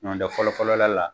Nɔ tɛ fɔlɔ fɔlɔla la